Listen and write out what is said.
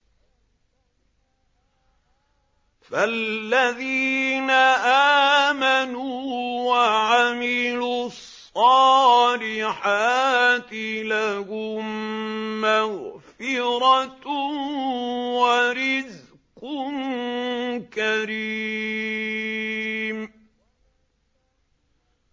فَالَّذِينَ آمَنُوا وَعَمِلُوا الصَّالِحَاتِ لَهُم مَّغْفِرَةٌ وَرِزْقٌ كَرِيمٌ